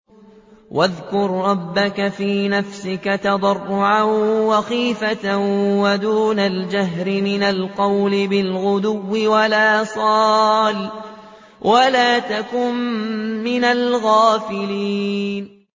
وَاذْكُر رَّبَّكَ فِي نَفْسِكَ تَضَرُّعًا وَخِيفَةً وَدُونَ الْجَهْرِ مِنَ الْقَوْلِ بِالْغُدُوِّ وَالْآصَالِ وَلَا تَكُن مِّنَ الْغَافِلِينَ